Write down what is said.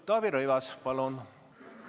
Taavi Rõivas, palun!